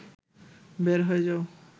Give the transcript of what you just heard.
বের হয়ে যাও